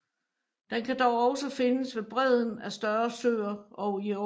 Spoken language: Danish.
Den kan dog også findes ved bredden af større søer og i åer